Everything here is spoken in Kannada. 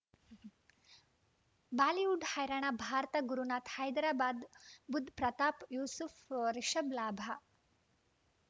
ಬಾಲಿವುಡ್ ಹೈರಾಣ ಭಾರತ ಗುರುನಾಥ ಹೈದರಾಬಾದ್ ಬುಧ್ ಪ್ರತಾಪ್ ಯೂಸುಫ್ ರಿಷಬ್ ಲಾಭ